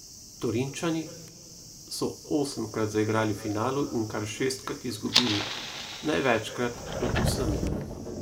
Torinčani so osemkrat zaigrali v finalu in kar šestkrat izgubili, največkrat med vsemi.